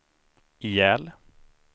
ihjäl